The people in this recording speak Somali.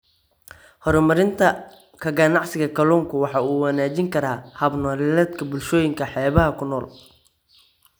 Horumarinta ka ganacsiga kalluunka waxa uu wanaajin karaa hab-nololeedka bulshooyinka xeebaha ku nool.